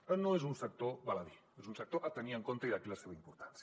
per tant no és un sector baladí és un sector a tenir en compte i d’aquí la seva importància